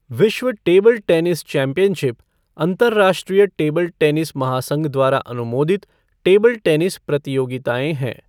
विश्व table tennis championship अंतरराष्ट्रीय table tennis महासंघ द्वारा अनुमोदित टेबल टेनिस प्रतियोगिताएँ हैं।